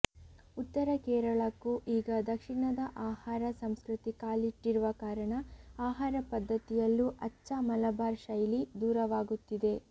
ಉತ್ತರ ಕೇರಳಕ್ಕೂ ಈಗ ದಕ್ಷಿಣದ ಆಹಾರ ಸಂಸ್ಕೃತಿ ಕಾಲಿಟ್ಟಿರುವ ಕಾರಣ ಆಹಾರ ಪದ್ಧತಿಯಲ್ಲೂ ಅಚ್ಛ ಮಲಬಾರ್ ಶೈಲಿ ದೂರವಾಗುತ್ತಿದೆ